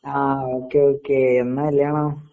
ആ okay okay എന്നാ കല്യാണം?